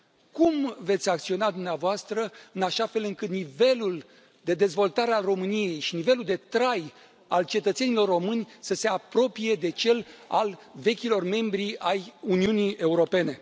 Cum veți acționa dumneavoastră în așa fel încât nivelul de dezvoltare al României și nivelul de trai al cetățenilor români să se apropie de cel al vechilor membri ai Uniunii Europene?